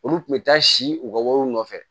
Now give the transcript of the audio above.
Olu tun bɛ taa si u ka wariw nɔfɛ